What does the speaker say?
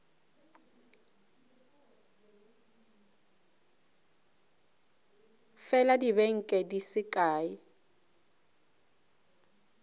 fela dibeke di se kae